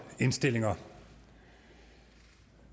indstillinger